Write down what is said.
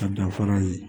Ka danfara ye